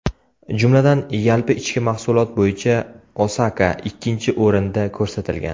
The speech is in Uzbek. Jumladan, yalpi ichki mahsulot bo‘yicha Osaka ikkinchi o‘rinda ko‘rsatilgan.